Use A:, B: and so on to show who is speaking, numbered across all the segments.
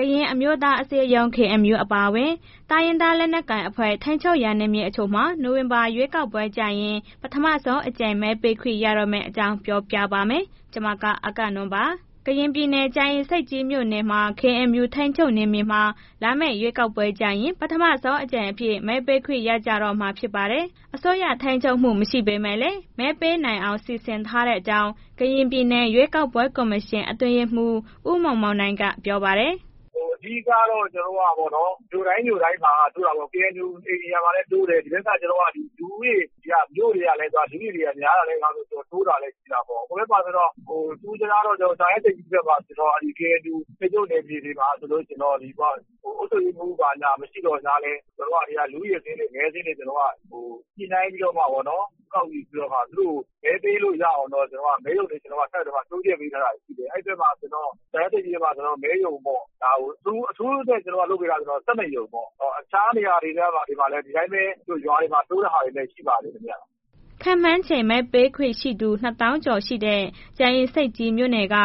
A: ကရင်အမျိုးသားအစည်းအရုံး အပါအဝင် တိုင်းရင်းသားလက်နက်ကိုင်အဖွဲ့တွေ ထိန်းချုပ်ရာ နယ်မြေတချို့မှာ နိုဝင်ဘာလ ရွေးကောက်ပွဲကျရင် ပထမဆုံးအကြိမ် မဲပေးခွင့်ရတော့မယ့်အကြောင်း ပြောပြပါမယ်။ ဗွီအိုအေမြန်မာပိုင်းသတင်းထောက် မအဂ္ဂနွန်က တင်ပြပေးပါမယ်။ ကရင်ပြည်နယ် ကြာအင်ဆိပ်ကြီးမြို့နယ်မှာ KNU ထိန်းချုပ်နယ်မြေမှာ လာမယ့်ရွေးကောက်ပွဲကျရင် ပထမဆုံးအကြိမ်အဖြစ် မဲပေးခွင့်ရကြတော့မှာ ဖြစ်ပါတယ်။ အစိုးရအုပ်ချုပ်မှု မရှိပေမဲ့လည်း မဲပေးနိုင်အောင် စီစဉ်ထားတဲ့အကြောင်း ကရင်ပြည်နယ် ရွေးကောက်ပွဲကော်မရှင် အတွင်းရေးမှူး ဦးမောင်မောင်နိုင်က ပြောပါတယ်။ “
B: အဓိက ကျနော်တို့က မြို့တိုင်းမြို့တိုင်းမှာ KNU နေရာမှာလည်း တိုးတယ်၊ ဒီဘက်က မြို့တွေက လူဦးရေတွေက များလာတာ၊ တိုးတာ ရှိတာပေ့ါ၊ ထူးထူးခြားခြားတော့ ကြာအင်ဆိပ်ကြီးဘက်က KNU ထိန်းချုပ်မြေထဲမှာဆိုလို့ရှိရင် အုပ်ချုပ်ရေးမှူးဘာညာ မရှိသော်ညာလည်း လူဦးရေစာရင်းတွေ မဲစာရင်းတွေ ညှိနှိုင်းပြီးတော့မှ ကောက်ခံတာ သူတို့ကို မဲပေးလို့ရအောင်တော့ ကျနော်တို့က အဲ့ဘက်မှာ မဲရုံတွေ တိုးပေးထားတာရှိတယ်၊ အဲ့ဘက်မှာဆိုရင်တော့ ကြာအင်ဆိပ်ကြီးမှာဆိုရင်တော့ မဲရုံပေါ့ အထူးအနေနဲ့ လုပ်ပေးထားတာ ၁၂ ရုံပေါ့။ အခြားနေရာတွေက ဒီတိုင်းပဲ ရွာတွေမှာ တိုးတဲ့ဟာလည်း ရှိပါတယ်ခင်ဗျာ။
A: ” ခန့်မှန်းခြေ မဲပေးခွင့်ရှိသူ ၂၀၀,၀၀၀ ကျော်လောက်ရှိတဲ့ ကြာအင်ဆိပ်ကြီးမြို့နယ်က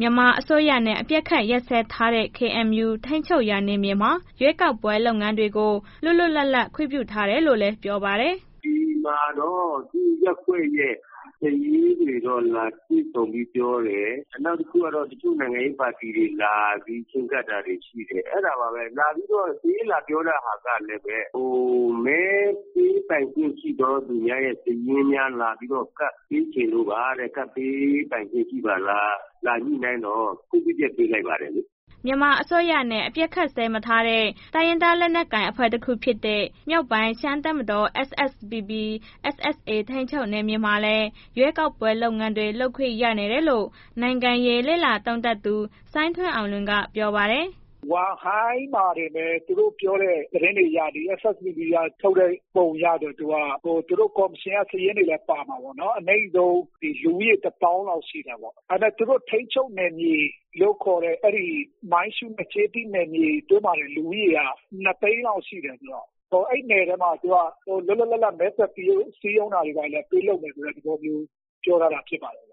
A: မြန်မာအစိုးရနဲ့ အပစ်အခတ် ရပ်စဲထားတဲ့ KNU ထိန်းချုပ်ရာနယ်မြေမှာ ရွေးကောက်ပွဲ လုပ်ငန်းတွေကို လွတ်လွတ်လပ်လပ် ခွင့်ပြုထားတယ်လို့လည်း KNU ဒ
C: ူပလာရာခရိုင်း အတွင်းရေးမှူးစောလစ်စတန်က ပြောပါတယ်။ “ဒီမှာတချို့ရပ်ကွက်ရဲ့ စာရေးတွေ လာတွေ့ဆုံပြီးပြောတယ်။ နောက်တစ်ခုကတော့ တချို့နိုင်ငံရေးပါတီတွေလာပြီး ချဉ်းကပ်တာတွေ ရှိတယ်။ အဲ့ဒါပါပဲ လာပြီးတော့ စာရေးလာပြောတဲ့ဟာက မဲပေးပိုင်ခွင့်ရှိသောသူများရဲ့ စာရင်းများ လာပြီးတော့ ကပ်ပေးချင်လို့ပါတဲ့ လာကပ်ပေးပိုင်းခွင့်ရှိပါလား၊ လာညှိနှိုင်းတော့ ခွင့်ပြုချက်ပေးလိုက်ပါတယ်။” မြ
A: န်မာအစိုးရနဲ့ အပစ်အခတ်ရပ်စဲမထားတဲ့ တိုင်းရင်းသား လက်နက်ကိုင်အဖွဲ့ တခုဖြစ်တဲ့ မြောက်ပိုင်းရှမ်းပြည်တပ်မတော် SSPP/SSA ထိန်းချုပ်နယ်မြေမှာလည်း ရွေးကောက်ပွဲ လုပ်ငန်းတွေ လုပ်ခွင့်ရနေတယ်လို့ နိုင်ငံရေးလေ့လာသုံးသပ်သူ စိုင်းထွန်းအောင်လွင်က ပြောပါတယ်။
B: “ဝမ့်ဟိုင်း အဲ့မှာတွေပဲ သူတို့ပြောတဲ့ သတင်းတွေအရ SSPP က ထုတ်တဲ့ ပုံအရ သူတို့ ကော်မရှင်စာရင်းတွေလည်း ပါမှာပေ့ါနော်။ အနိမ့်ဆုံး လူဦးရေ ၁၀,၀၀၀ လောက်ရှိတယ်ပေါ့။ ဒါပေမဲ့ သူတို့ ထိန်းချုပ်နယ်မြေလို့ခေါ်တဲ့ အဲ့ဒီ မိုင်းရူးနဲ့ ကျေးသီး နယ်မြေတို့မှာလည်း လူဦးရေက ၂၀၀,၀၀၀ လောက်ရှိတယ်ဆိုတော့ အဲ့ဒီနယ်တွေထဲ လွတ်လွတ်လပ်လပ်မဲဆွယ်စည်းရုံးတာတွေ ဘာတွေလည်း ပေးလုပ်မယ်... သဘောမျိုးပြောထားတယ်ဖြစ်ပါတယ်ဗျ။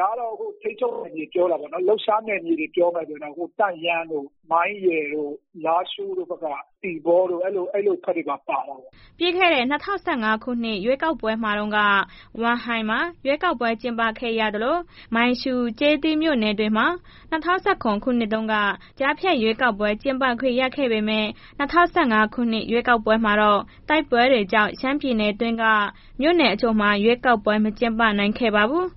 B: ဒါတော့ ထိန်းချုပ်နယ်မြေပြောတာပေါ့နော်။ လှုပ်ရှားနယ်မြေ ပြောမယ်ဆိုရင်တော့တန့်ယန်း၊ မိုင်းရယ်တို့၊ လာရှို့တို့ဘက်က သီပေါတို့ အဲ့လိုဘက်တွေပါ ပါတယ်ပေါ့
A: ။” ပြီးခဲ့တဲ့ ၂၀၁၀ ပြည့်နှစ် ရွေးကောက်ပွဲတုန်းက ဝမ့်ဟိုင်းမှာ ရွေးကောက်ပွဲ ကျင်းပခွင့်ရခဲ့သလို၊ မိုင်းရှုး၊ ကျေးသီးမြို့နယ်တွေမှာ ၂၀၁၇ ခုနှစ်တုန်းက ကြားဖြတ်ရွေးကောက်ပွဲ ကျင်းပခွင့်ရခဲ့ပေမဲ့ ၂၀၁၅ ခုနှစ် ရွေးကောက်ပွဲမှာတော့ တိုက်ပွဲတွေကြောင့် ရှမ်းပြည်နယ်တွင်းက မြို့နယ်တချို့မှာ ရွေးကောက်ပွဲတွေ မကျင်းပနိုင်ခဲ့ပါဘူး